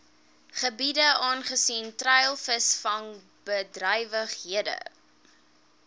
gebiede aangesien treilvisvangbedrywighede